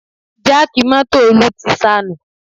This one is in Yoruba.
Jáàkì mọ́tò Olú ti sanù